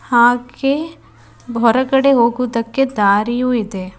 ಹಾಗೆ ಹೊರಗಡೆ ಹೋಗುವುದಕ್ಕೆ ದಾರಿಯು ಇದೆ.